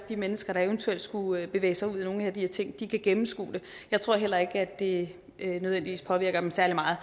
de mennesker der eventuelt skulle bevæge sig ud i nogle af de her ting kan gennemskue det jeg tror heller ikke at det nødvendigvis påvirker dem særlig meget